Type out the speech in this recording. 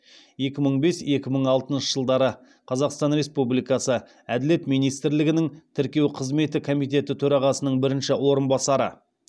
екі мың бес екі мың алтыншы жылдары қазақстан республикасы әділет министрлігінің тіркеу қызметі комитеті төрағасының бірінші орынбасары